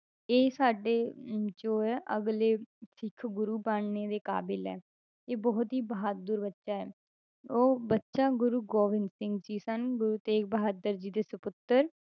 ਇਹ ਸਾਡੇ ਅਮ ਜੋ ਹੈ ਅਗਲੇ ਸਿੱਖ ਗੁਰੂ ਬਣਨ ਦੇ ਕਾਬਿਲ ਹੈ, ਇਹ ਬਹੁਤ ਹੀ ਬਹਾਦੁਰ ਬੱਚਾ ਹੈ, ਉਹ ਬੱਚਾ ਗੁਰੂ ਗੋਬਿੰਦ ਸਿੰਘ ਜੀ ਸਨ, ਗੁਰੂ ਤੇਗ ਬਹਾਦਰ ਜੀ ਦੇ ਸਪੁੱਤਰ